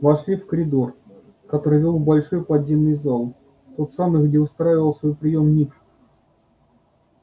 вошли в коридор который вёл в большой подземный зал в тот самый где устраивал свой приём ник